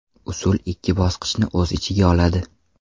Usul ikki bosqichni o‘z ichiga oladi.